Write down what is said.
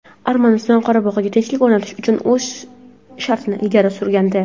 Armaniston Qorabog‘da tinchlik o‘rnatish uchun o‘z shartini ilgari surgandi.